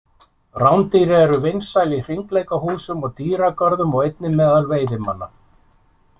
Rándýr eru vinsæl í hringleikahúsum og dýragörðum og einnig meðal veiðimanna.